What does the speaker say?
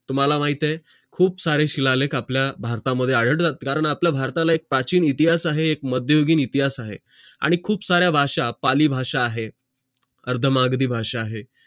तुम्हाला माहित आहे खूप सारे शिळा लेख आपल्या भारत मध्ये आढळते आणि आपल्या भारताला इतिहास आहे मध्यगुगीन इतिहास आहे आणि खूप साऱ्या भाषा पाली भाषा आहे अर्धमाधारी भाषा आहे